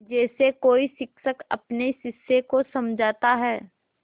जैसे कोई शिक्षक अपने शिष्य को समझाता है